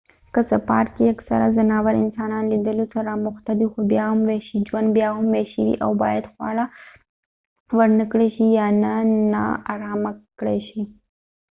که څه پارک کې اکثره ځناور انسانان لیدلو سره اموخته دي خو بیا هم وحشي ژوند بیا هم وحشي وي او باید خواړه ورنکړای شي یا نه ناارامه کړای شي